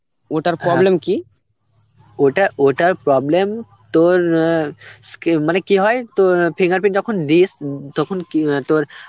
ওটার problem কি, ওটা ওটার problem তোর অ্যাঁ স্কি~ মানে কি হয় তো অ্যাঁ fingerprint যখন দিস তখন কি অ্যাঁ তোর